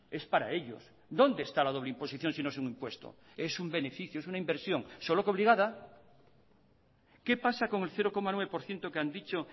es para ellos dónde está la doble imposición si no es un impuesto es un beneficio es una inversión solo que obligada qué pasa con el cero coma nueve por ciento que han dicho